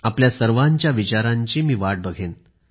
आपल्या सर्वांच्या विचारांची मी वाट बघेन